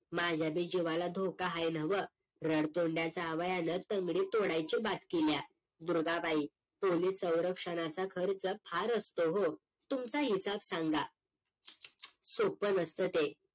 माझ्या बी जीवाला धोका हाय न्हवं, रडतोंड्या जावयाने तंगडी तोडायची बात केलीया. दुर्गाबाई पोलीस सवरक्षणाचा खर्च फार असतो, हो तुमचा हिसाब सांगा सोपं नसतं ते